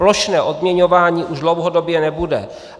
Plošné odměňování už dlouhodobě nebude.